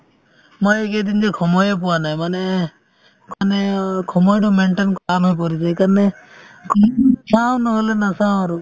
মই এইকেইদিন যে সময়ে পোৱা নাই মানে মানে অ সময়তো maintain টান হৈ পৰিছে সেইকাৰণে চাওঁ নহ'লে নাচাওঁ আৰু